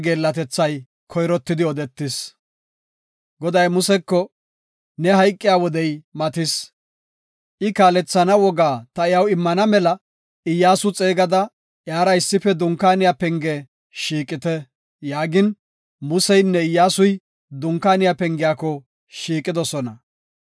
Goday Museko, “Ne hayqiya wodey matis. I kaalethana wogaa ta iyaw immana mela Iyyasu xeegada, iyara issife Dunkaaniya penge shiiqite” yaagin, Museynne Iyyasuy Dunkaaniya pengiyako shiiqidosona.